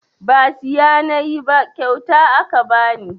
Ba siya nayi ba kyauta aka bani